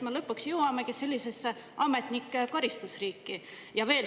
Lõpuks me jõuamegi sellisesse ametnike karistuste riiki.